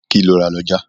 Kí lo rà lọ́jà?